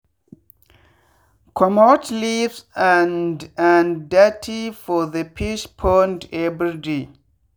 commot leaves and and dirty for the fish pond everyday.